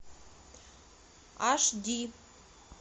аш ди